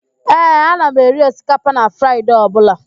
Ee, ana m eri osikapa na Fraịde ọbụla